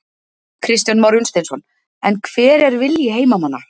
Kristján Már Unnarsson: En hver er vilji heimamanna?